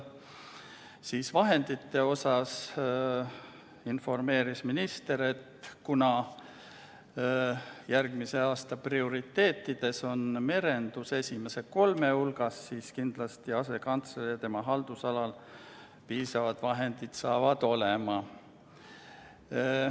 Mis puutub vahenditesse, siis andis minister teada, et kuna järgmise aasta prioriteetide hulgas on merendus kindlasti esimese kolme hulgas, siis selle asekantsleri haldusalas piisavad vahendid saavad olema.